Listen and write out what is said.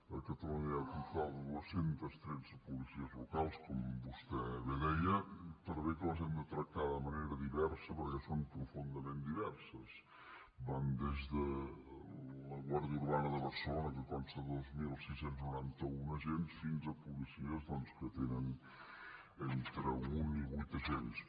a catalunya hi ha al voltant de dos cents i tretze policies locals com vostè bé deia per bé que les hem de tractar de manera diversa perquè són profundament diverses van des de la guàrdia urbana de barcelona que consta de dos mil sis cents i noranta un agents fins a policies doncs que tenen entre un i vuit agents